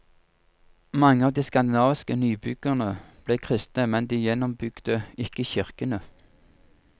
Mange av de skandinaviske nybyggerne ble kristne, men de gjenoppbygde ikke kirkene.